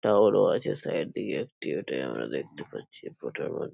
টাওয়ারও আছে সাইড দিয়ে একটি এটায় আমরা দেখতে পাচ্ছি এই ফটো -র মধ --